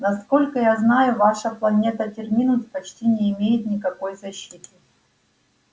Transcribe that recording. насколько я знаю ваша планета терминус почти не имеет никакой защиты